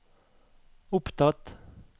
opptatt